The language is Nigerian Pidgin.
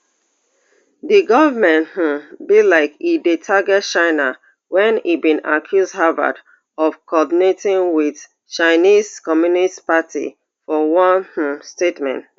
di goment um be like e dey target china wen e bin accuse harvard of coordinating wit chinese communist party for one um statement